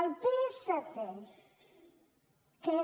el psc que